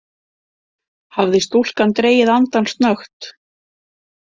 Hafði stúlkan dregið andann snöggt?